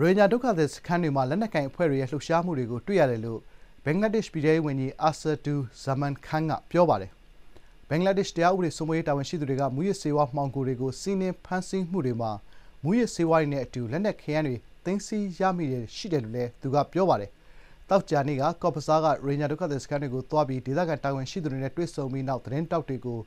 ရိုဟင်ဂျာဒုက္ခသည်စခန်းတွေမှာ လက်နက်ကိုင်အဖွဲ့တွေရဲ့ လှုပ်ရှားမှုတွေကို တွေ့ရတယ်လို့ ဘင်္ဂလားဒေ့ရှ် ပြည်ထဲရေးဝန်ကြီး အာဆာဒူဇာမန်ခန်း (Asaduzzaman Khan) က ပြောပါတယ်။ ဘင်္ဂလားဒေ့ရှ် တရားဥပဒေစိုးမိုးရေး တာဝန်ရှိသူတွေက မူးယစ်ဆေးဝါး မှောင်ခိုတွေကို စီးနင်းဖမ်းဆီးမှုတွေမှာ မူးယစ်ဆေးဝါးတွေနဲ့ အတူ လက်နက်ခဲယမ်းများ သိမ်းဆည်းရမိမှုတွေ ရှိတယ်လို့လည်း သူကပြောပါတယ်။ သောကြာနေ့က ကော့ဇ်ဘဇား Cox's Bazar ရိုဟင်ဂျာဒုက္ခသည်စခန်းတွေကို သွားပြီး ဒေသခံတာဝန်ရှိသူတွေနဲ့ တွေ့ဆုံပြီးနောက် သတင်းထောက်တွေကို